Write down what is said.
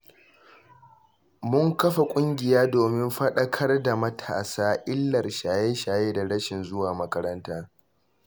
Mun kafa ƙungiya domin faɗakar da matasa illar shaye-shaye da rashin zuwa makaranta.